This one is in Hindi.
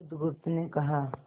बुधगुप्त ने कहा